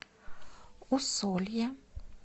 усолье